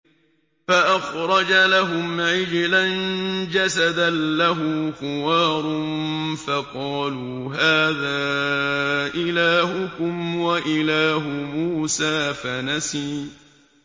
فَأَخْرَجَ لَهُمْ عِجْلًا جَسَدًا لَّهُ خُوَارٌ فَقَالُوا هَٰذَا إِلَٰهُكُمْ وَإِلَٰهُ مُوسَىٰ فَنَسِيَ